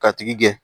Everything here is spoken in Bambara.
Ka tigi gɛn